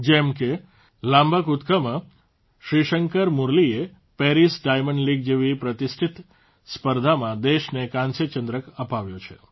જેમ કે લાંબા કૂદકામાં શ્રીશંકર મુરલીએ પેરિસ ડાયંમડ લીગ જેવી પ્રતિષ્ઠિત સ્પર્ધામાં દેશને કાંસ્યચંદ્રક અપાવ્યો છે